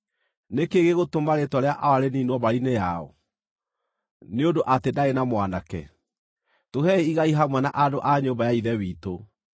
Nĩ kĩĩ gĩgũtũma rĩĩtwa rĩa awa rĩniinwo mbarĩ-inĩ yao, nĩ ũndũ atĩ ndaarĩ na mwanake? Tũhei igai hamwe na andũ a nyũmba ya ithe witũ.”